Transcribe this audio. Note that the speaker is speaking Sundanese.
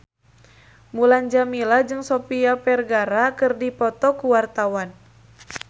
Mulan Jameela jeung Sofia Vergara keur dipoto ku wartawan